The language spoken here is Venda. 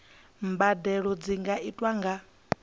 mbadelo dzi nga itwa nga